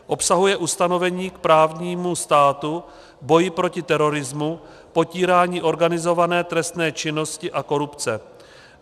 Obsahuje ustanovení k právnímu státu, boji proti terorismu, potírání organizované trestné činnosti a korupce.